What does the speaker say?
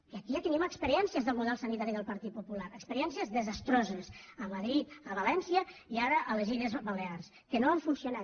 i aquí ja tenim experiències del model sanitari del partit popular experiències desastroses a madrid a valència i ara a les illes balears que no han funcionat